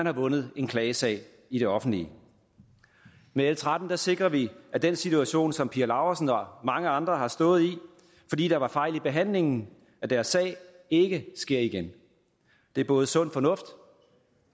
har vundet en klagesag i det offentlige med l tretten sikrer vi at den situation som pia laursen og mange andre har stået i fordi der var fejl i behandlingen af deres sag ikke sker igen det er både sund fornuft